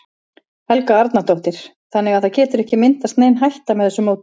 Helga Arnardóttir: Þannig að það getur ekki myndast nein hætta með þessu móti?